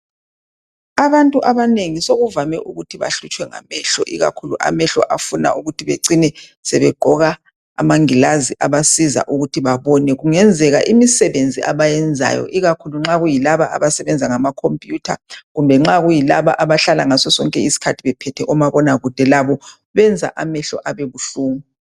Abantu abanengi sekuvame ukuthi bahlutshwe ngamehlo ikakhulu amehlo afuna ukuthi becine sebegqoka amangilazi abasiza ukuthi babone. Kungenzeka imisebenzi abayenzayo, ikakhulu nxa kuyilaba abasebenza ngama computer, kumbe nxa kuyilaba abahlala ngaso sonke isikhathi bephethe omabonakude, labo benza amehlo abe buhlungu.